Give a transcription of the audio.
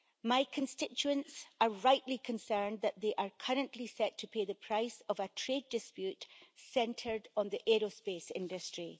My constituents are rightly concerned that they are currently set to pay the price of a trade dispute centred on the aerospace industry.